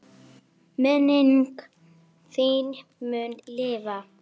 Minning þín mun lifa.